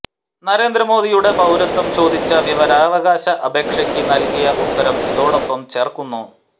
നരേന്ദ്രമോദി യുടെ പൌരത്വം ചോദിച്ച വിവരാവകാശ അപേക്ഷയ്ക്ക് നൽകിയ ഉത്തരം ഇതോടൊപ്പം ചേർക്കുന്നു